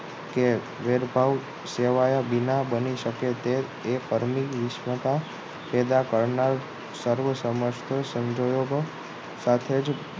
કે ભેદભાવ સેવાયા બીના બની શકે તે પરિશ્રમ કા પેદા કરનાર સર્વ સમસ્ત સંજોગો સાથે જ